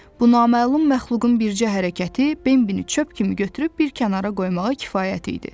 Bu naməlum məxluqun bircə hərəkəti Bembi çöp kimi götürüb bir kənara qoymağa kifayət idi.